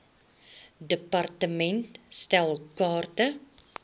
department stel kaarte